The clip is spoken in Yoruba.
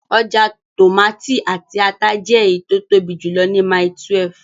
Ọjà tòmátì àti ata jẹ́ èyí tí ó tóbi jùlọ ní Mile 12